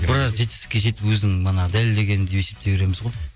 біраз жетістікке жетіп өзінің манағы дәлелдегені деп есептей береміз ғой